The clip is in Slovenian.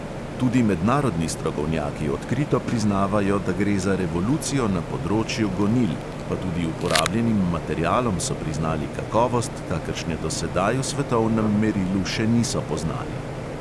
Tudi mednarodni strokovnjaki odkrito priznavajo, da gre za revolucijo na področju gonil, pa tudi uporabljenim materialom so priznali kakovost, kakršne do sedaj v svetovnem merilu še niso poznali.